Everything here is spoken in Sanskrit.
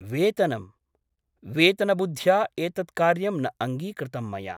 वेतनम् !! वेतनबुद्धया एतत् कार्यं न अङ्गीकृतं मया ।